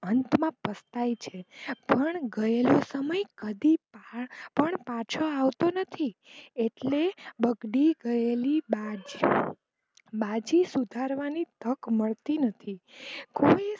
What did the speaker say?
અંત માં પસ્તાય છે પણ ગયેલો સમય કદી પણ પાછો આવતો નથી એટલે બગડી ગયેલી બાજી સુધારવાની તક મળતી નથી.